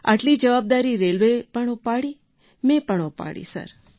આટલી જવાબદારી રેલવેએ પણ ઉપાડી મેં પણ ઉપાડી સર